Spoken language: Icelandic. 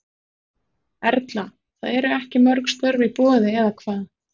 Erla: Það eru ekki mörg störf í boði eða hvað?